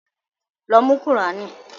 Lọ mú qùránì!